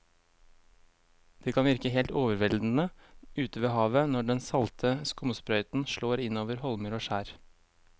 Det kan virke helt overveldende ute ved havet når den salte skumsprøyten slår innover holmer og skjær.